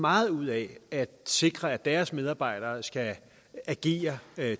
meget ud af at sikre at deres medarbejdere skal agere